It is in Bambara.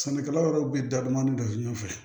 Sɛnɛkɛla wɛrɛw bɛ da dɔɔnin dɔ ɲɛfɛ